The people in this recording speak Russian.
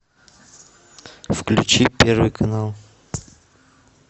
включи первый канал